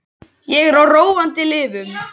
Ég er á róandi lyfjum.